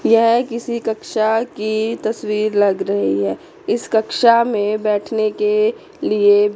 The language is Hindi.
यह किसी कक्षा की तस्वीर लग रही है इस कक्षा में बैठने के लिए--